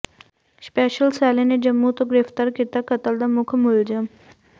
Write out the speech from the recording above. special cell ਨੇ ਜੰਮੂ ਤੋਂ ਗ੍ਰਿਫ਼ਤਾਰ ਕੀਤਾ ਕਤਲ ਦਾ ਮੁੱਖ ਮੁਲਜ਼ਮ